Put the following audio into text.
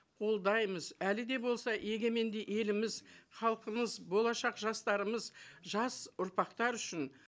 қолдаймыз әлі де болса егеменді еліміз халқымыз болашақ жастарымыз жас ұрпақтар үшін